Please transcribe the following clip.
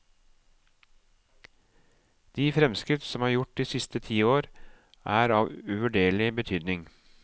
De fremskritt som er gjort de siste ti år, er av uvurderlig betydning.